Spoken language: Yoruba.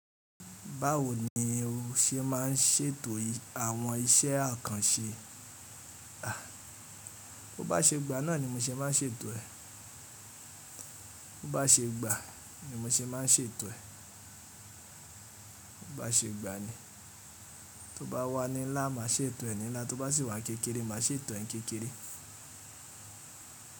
Báwo ni o ṣe má ń ṣètò àwọn iṣẹ́ àkànṣe? Bo bá ṣe gbà náà ni mo ṣe má ń ṣètò ẹ̀. O bá ṣe gbà ni mo ṣe má ń ṣètò ẹ̀. Bo bá ṣe gbà ni. To bá wà ní ńlá, màá ṣètò ẹ̀ ní ńlá, to bá sì wà kékeré, màá ṣètò ẹ̀ kékeré.